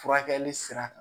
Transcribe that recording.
Furakɛli sira kan